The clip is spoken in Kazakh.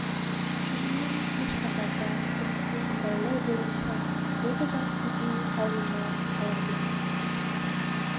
сонымен кеш батарда келіскен байлау бойынша отыз ат кедей аулында қала берді